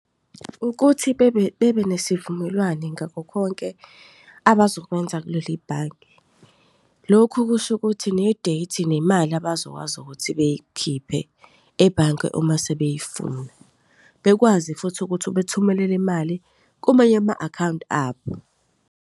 Ukuthi bebe bebe nesivumelwane ngakho konke abazokwenza kuleli bhange. Lokhu kusho ukuthi ne-date nemali abazokwazi ukuthi bayikhiphe ebhange uma sebeyifuna. Bekwazi futhi ukuthi bethumelele imali kumanye ama-akhawunti abo.